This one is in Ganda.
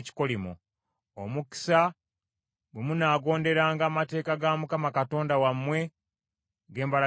Omukisa, bwe munaagonderanga amateeka ga Mukama Katonda wammwe ge mbalagira leero;